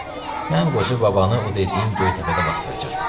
Mən qoca babanı o dediyin Göytəpədə basdıracaqsan.